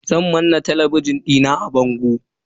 Zan manna talabijin dina a bango.